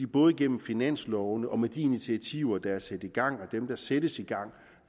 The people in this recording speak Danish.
både gennem finanslovene og med de initiativer der er sat i gang og dem der sættes i gang